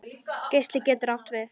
Geisli getur átt við